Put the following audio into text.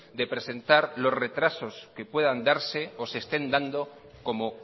de presentar los retrasos que puedan darse o se estén dando como